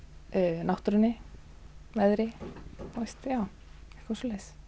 náttúrunni veðri eitthvað svoleiðis